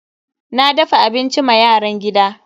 Na dafa abinci ma yaran gida.